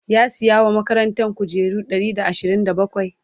ya saya wa makarantan kujeru Ɗari da ashirin da bakwai?